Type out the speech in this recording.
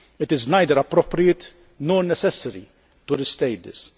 It is neither appropriate nor necessary to restate this.